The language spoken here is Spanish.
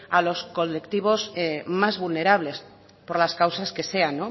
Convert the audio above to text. a los colectivos más vulnerables por las causas que sean